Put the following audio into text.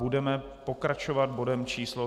Budeme pokračovat bodem číslo